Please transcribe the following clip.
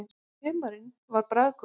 Humarinn var bragðgóður.